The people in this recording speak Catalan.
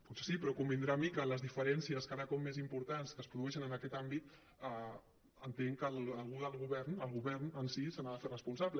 potser sí però convindrà amb mi que les diferències cada cop més importants que es produeixen en aquest àmbit entenc que algú del govern el govern en si se n’ha de fer responsable